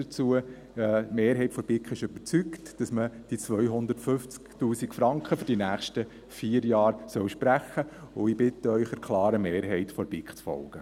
Die Mehrheit der BiK ist überzeugt, dass man die 250 000 Franken für die nächsten vier Jahre sprechen sollte, und ich bitte Sie, der klaren Mehrheit der BiK zu folgen.